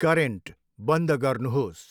Current बन्द गर्नुहोस्।